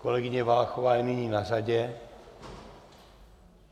Kolegyně Valachová je nyní na řadě.